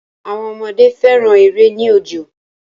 Àwọn ọmọdé fẹ́ran èrè ní òjò